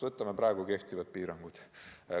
Võtame praegu kehtivad piirangud.